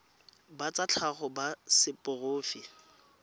ba tsa tlhago ba seporofe